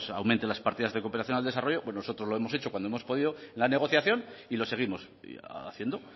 aumente las partidas de cooperación al desarrollo pues nosotros lo hemos hecho cuando hemos podido la negociación y lo seguimos haciendo